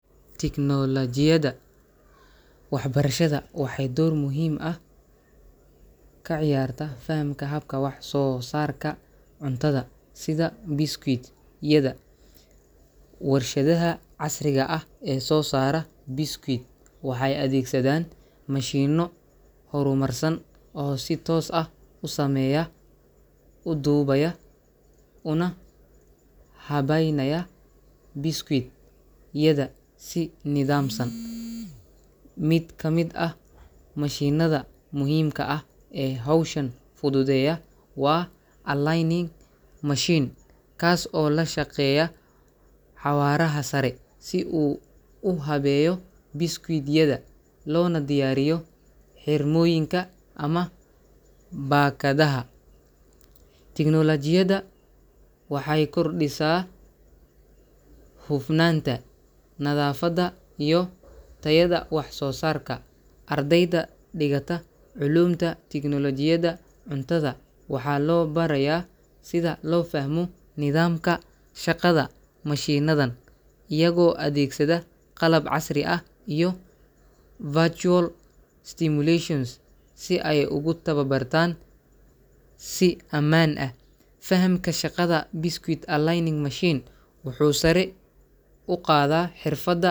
Tignoolajiyada waxbarashada waxay door muhiim ah ka ciyaartaa fahamka habka wax-soo-saarka cuntada sida biscuit-yada. Warshadaha casriga ah ee soo saara biscuit waxay adeegsadaan mashiinno horumarsan oo si toos ah u sameeya, u dubaya, una habaynaya biscuit-yada si nidaamsan. Mid ka mid ah mashiinnada muhiimka ah ee hawshan fududeeya waa aligning machine, kaas oo la shaqeeya xawaaraha sare si uu u habeeyo biscuit-yada loona diyaariyo xirmooyinka ama baakadaha. Tignoolajiyadani waxay kordhisaa hufnaanta, nadaafadda iyo tayada wax soo saarka. Ardayda dhigata culuumta tignoolajiyada cuntada waxaa loo barayaa sida loo fahmo nidaamka shaqada mashiinnadan, iyagoo adeegsada qalab casri ah iyo virtual simulations si ay ugu tababartaan si ammaan ah. Fahamka shaqada biscuit aligning machine wuxuu sare u qaadaa xirfadda .